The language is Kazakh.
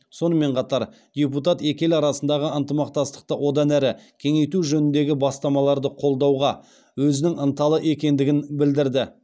сонымен қатар депутат екі ел арасындағы ынтымақтастықты одан әрі кеңейту жөніндегі бастамаларды қолдауға өзінің ынталы екендігін білдірді